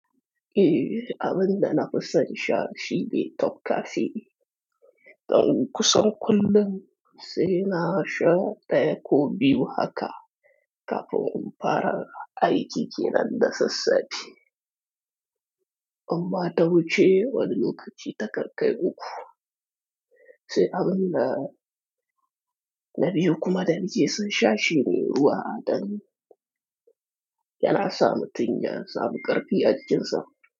Eeh, abin da na fi son sha shine toka fi. Dan kusan kullum sai na sha ɗaya ko biyu haka kafin in fara aiki kenan da sassafe. Amma ta wuce wani lokaci ta kankai uku. Sai abin da na biyo kuma da nike son sha shine ruwa, dan yana sa mutum ya samu ƙarfi ajikin sa.